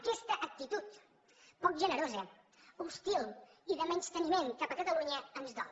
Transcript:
aquesta actitud poc generosa hostil i de menysteniment cap a catalunya ens dol